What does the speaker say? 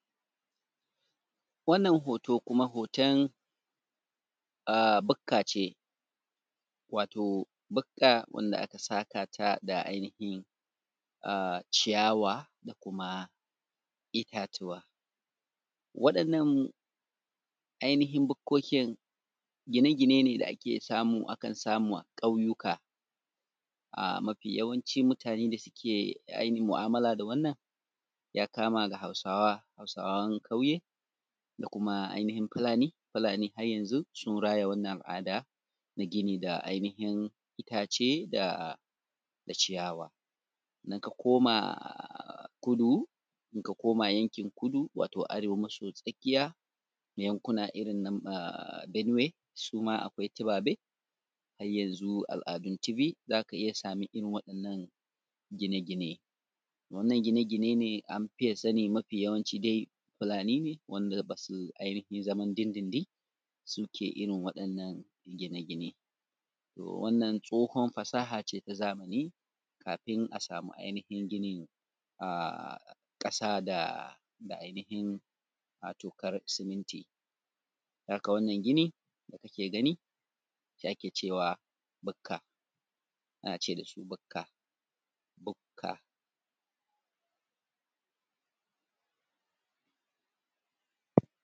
wannan hoto kuma hoto ahh bukka ce wato bukka wadda aka saƙa ta da ainihin ahh ciyawa da kuma itatuwa waɗannan ainihin bukkokin gine gine ne da ake samu a kan samu a ƙauyuka ahh mafi yawanci mutane da suke mu’amila da wannan ya kama da hausawa hausawan ƙauye da kuma ainihin fulani fulani har yanzu sun raya wannan al’ada na gini da ainihin itace da.. da ciyawa in ka koma kudu in ka koma yankin kudu wato arewa maso tsakiya yankuna irin su ah benue suma akwai tibabe har yanzu al’adun tibi za ka iya samun irin wannan gine gine wannan gine gine ne an fiye sanin mafi yawanci dai fulani ne wanda ba su ainihin zaman din din din su ke irin waɗannan gine gine wannan tsohon fasaha ce ta zamani kafin a samu ainihin ginin ahh ƙasa da.. da ainihin wato farin siminti don haka wannan gini da kuke gani shi ake cewa bukka ana ce da su bukka bukka